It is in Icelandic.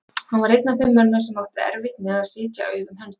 Hann var einn af þeim mönnum sem áttu erfitt með að sitja auðum höndum.